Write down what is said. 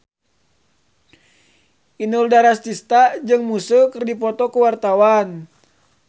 Inul Daratista jeung Muse keur dipoto ku wartawan